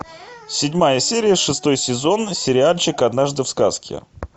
седьмая серия шестой сезон сериальчик однажды в сказке